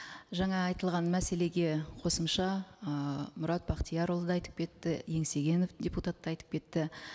жаңа айтылған мәселеге қосымша ыыы мұрат бақтиярұлы да айтып кетті еңсегенов депутат та айтып кетті